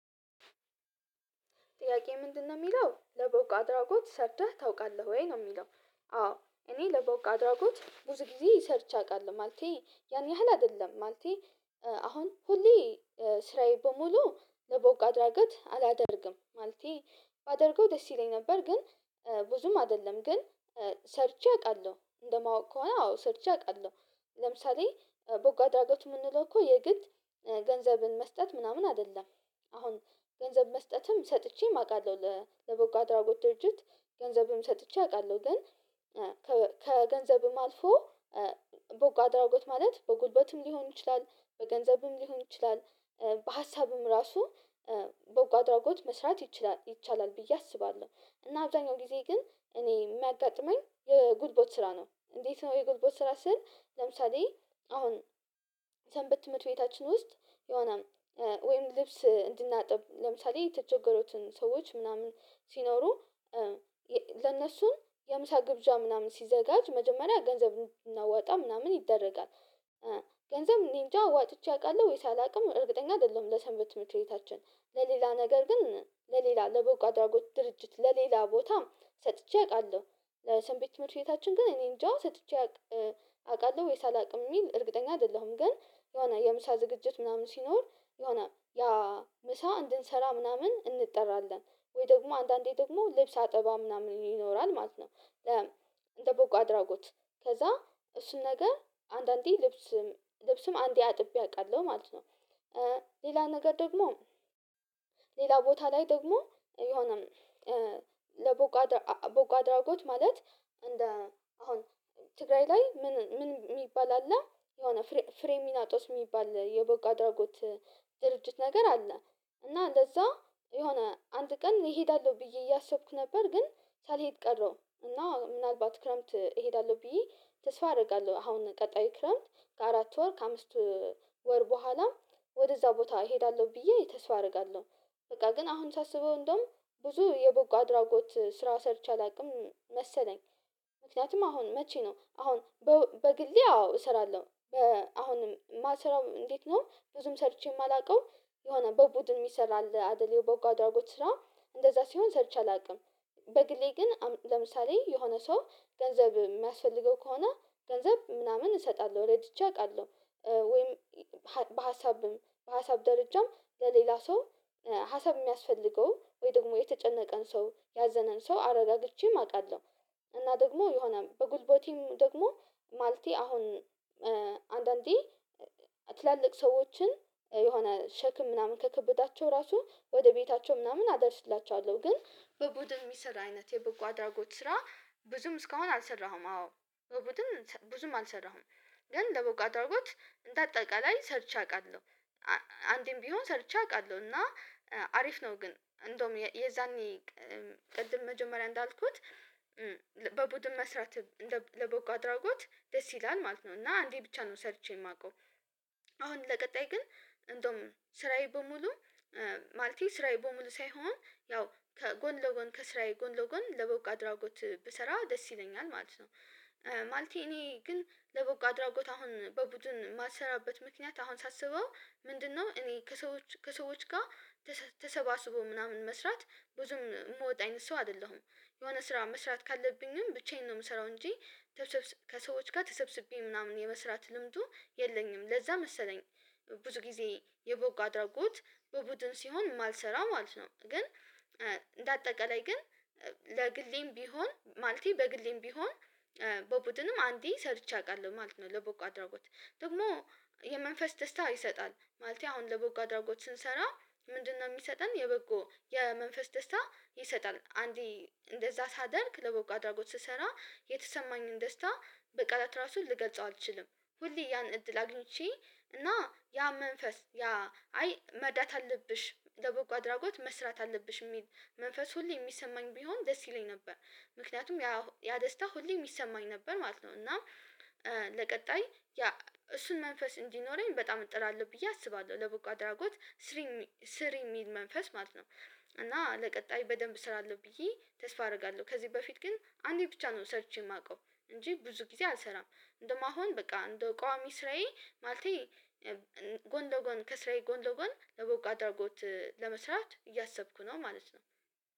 ጥያቄ ምንድነው የሚለው? ለበጎት አድራጎት ሰርተህ ታውቃለህ ወይ ነው የሚለው። አዎ እኔ ለቦቅ አድራጎት ብዙ ጊዜ ሰርቼ አውቃለሁ ማለቴ ያን ያህል አይደለም ማለቴ አሁን ሁሌ ስራዬ በሙሉ ለቦቅ አድራጎት አላደርግም ማለቴ ባደርገው ደስ ይለኝ ነበር። ግን ብዙም አይደለም ግን ሰርቼ አውቃለው እንደማወቅ ከሆነ አዎ ሰርቼ አውቃለሁ ለምሳሌ በጎ አድራጎት የምንለው እኮ የግድ ገንዘብን መስጠት ምናምን አይደለም። አሁን ገንዘብ መስጠትም ሰጥቼም አውቃለሁ ለበጎ አድራጎት ድርጅት ገንዘብም ሰጥቼ አውቃለሁ ግን ከገንዘብም አልፎ በጎ አድራጎት ማለት በጉልበትም ሊሆን ይችላል በገንዘብም ሊሆን ይችላል በሀሳብም ራሱ በጎ አድራጎት መስራት ይቻላል ብዬ አስባለው። እና አብዛኛው ጊዜ ግን እኔ የማጋጥመኝ የጉልበት ስራ ነው። እንዴት ነው የጉልቦት ስራ ስል ለምሳሌ አሁን የሰንበት ትምርት ቤታችን ውስጥ የሆነ ወይም ልብስ እንድናጥብ ለምሳሌ የተቸገሩትን ሰዎች ምናምን ሲኖሩ የ ለነሱም የምሳ ግብዣ ምናምን ሲዘጋጅ መጀመሪያ ገንዘብ እናወጣ ምናምን ይደረጋል። ገንዘብ እኔንጃ ዋጥቼ አውቃለሁ ወይስ አላውቅም እርግጠኛ አይደለሁም ለሰንበት ትምርት ቤታችን ለሌላ ነገር ግን ለሌላ ለበጎ አድራጎት ድርጅት ለሌላ ቦታ ሰጥቼ አውቃለው። ለሰንበት ትምህርት ቤታችን ግን እኔ እኔንጃ ሰጥቼ አውቃለሁ ወይስ አላውቅም የሚል እርግጠኛ አይደለሁም ግን የሆነ የምሳ ዝግጅት ምናምን ሲኖር የሆነ ያ ምሳ እንድንሰራ ምናምን እንጠራለን። ወይ ደግሞ አንዳንዴ ደግሞ ልብስ አጠባ ምናምን ይኖራል ማለት ነው። ለ እንደ በጎ አድራጎት ከዛ እሱን ነገር አንዳንዴ ልብስም ልብስም አንዴ አጥቤ አውቃለሁ ማለት ነው። ሌላ ነገር ደግሞ ሌላ ቦታ ላይ ደግሞ የሆነም ለበጎ አድራጎት ማለት እንደ አሁን ትግራይ ላይ ምን ምን የሚባል አለ የሆነ ፍሬሚናጦስ የሚባል የበጎ አድራጎ ድርጅት ድርጅት ነገር አለ እና እንደዛ የሆነ አንድ ቀን እሄዳለሁ ብዬ እያሰብኩ ነበር ግን ሳልሄድ ቀረው። እና ምናልባት ክረምት እሄዳለው ብዬ ተስፋ አረጋለሁ አሁን ቀጣይ ክረምት ከአራት ወር ከአምስት ወር ቦኋላም ወደዛ ቦታ እሄዳለሁ ብዬ ተስፋ አረጋለሁ በቃ ግን አሁን ሳስበው እንደውም ብዙ የበጎ አድራጎት ስራ ሰርቼ አላውቅም መሰለኝ። ምክንያቱም አሁን መቼ ነው አሁን በግሌ አዎ እሰራለው። አሁንም ማሰራው እንዴት ነው ብዙም ሰርቼ የማላውቀው የሆነ በቡድን የሚሰራ አለ አይደል በጎ አድራጎት ስራ እንደዛ ሲሆን ሰርቼ አላውቅም በግሌ ግን ለምሳሌ የሆነ ሰው ገንዘብ የሚያስፈልገው ከሆነ ገንዘብ ምናምን እሰጣለሁ ረድቼ አውቃለው ወይም በሀሳብም በሀሳብ ደረጃም ለሌላ ሰው ሀሳብ የሚያስፈልገው ወይ ደግሞ የተጨነቀን ሰው ያዘነንም ሰው አረጋግቼም አውቃለዉደ እና ደግሞ የሆነ በጉልበቴም ደግሞ ማልቴ አሁን አንዳንዴ ትላልቅ ሰዎችን የሆነ ሸክም ምናምን ከከበዳቸው ራሱ ወደ ቤታቸው ምናምን አደርስላችኋለው ግን በቡድን የሚሰራ አይነት የበጎ አድራጎት ስራ ብዙም እስካሁን አልሰራሁም አዎ በቡድን ብዙም አልሰራሁም። ግን ለበጎ አድራጎት እንደ አጠቃላይ ሰርቼ አውቃለዉ። አንዴም ቢሆን ሰርቼ አውቃለሁ እና አሪፍ ነው ግን እንደውም የዛኔ ቅድም መጀመሪያ እንዳልኩት በቡድን መስራት ለበጎ አድራጎት ደስ ይላል ማለት ነው። እና አንዴ ብቻ ነው ሰርቼ የማውቀው አሁን ለቀጣይ ግን እንደውም ስራዬ በሙሉ ማለቴ ስራዬ በሙሉ ሳይሆን ያው ከጎን ለጎን ከስራዬ ጎን ለጎን ለበጎ አድራጎት ብሰራ ደስ ይለኛል ማለት ነው። እኔ ግን ለበጎ አድራጎት አሁን በቡድን የማልሰራበት ምክንያት አሁን ሳስበው ምንድነው እኔ ከሰዎች ከሰዎች ጋር ተሰባስቦ ምናምን መስራት ብዙም የምወጣ አይነት ሰው አይደለሁም። የሆነ ስራ መስራት ካለብኝም ብቻዬን ነው የምሰራው እንጂ ከሰዎች ጋር ተሰብስቤ ምናምን የመስራት ልምዱ የለኝም። ለዛ መሰለኝ ብዙ ጊዜ የበጎ አድራጎት በቡድን ሲሆን ማልሰራ ማለት ነው። ግን እንደ አጠቃላይ ግን ለግሌም ቢሆን ማለቴ በግሌም ቢሆን በቡድንም አንዴ ሰርቼ አውቃለሁ ማለት ነው። ለበጎ አድራጎት ደግሞ የመንፈስ ደስታ ይሰጣል። ማለቴ አሁን ለበጎ አድራጎች ስንሰራ ምንድነው የሚሰጠን የበጎ የመንፈስ ደስታ ይሰጣል አንዴ እንደዛ ሳደርግ ለበጎ አድራጎት ስሰራ የተሰማኝን ደስታ በቀላት ራሱ ልገልጸው አልችልም። ሁሌ ያን እድል አግኝቼ እና ያ መንፈስ ያ አይ መርዳት አለብሽ ለበጎ አድራጎት መስራት አለብሽ የሚል መንፈስ ሁሌ የሚሰማኝ ቢሆን ደስ ይለኝ ነበር። ምክንያቱም ያ ደስታ ሁሌ ሚሰማኝ ነበር ማለት ነው እና ለቀጣይ ያ እሱን መንፈስ እንዲኖረኝ በጣም እጥራለሁ ብዬ አስባለሁ ለበጎ አድራጎት ስሪ ስሪ የሚል መንፈስ ማለት ነው። እና ለቀጣይ በደንብ አስራለው ብዬ ተስፋ አደርጋለሁ። ከዚህ በፊት ግን አንዴ ብቻ ነው ሰርቼ የማውቀው እንጂ ብዙ ጊዜ አልሰራም እንደማሆን በቃ እንደ ቋሚ ስራዬ ማለቴ ጎን ለጎን ከስራዬ ጎን ለጎን ለበጎ አድርጎት ለመስራት እያሰብኩ ነው ማለት ነው።